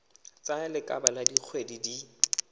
tsaya lebaka la dikgwedi di